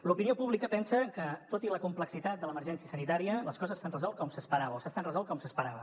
l’opinió pública pensa que tot i la complexitat de l’emergència sanitària les coses s’han resolt com s’esperava o s’estan resolent com s’esperava